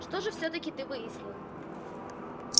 что же всё-таки ты выяснил